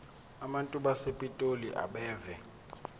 abantu basepitoli abeve